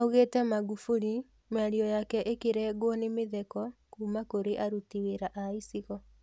Augĩte Magufuli mĩario yake ĩkĩrengwo nĩ mĩtheko kuma kũrĩ aruti wĩra a icigo.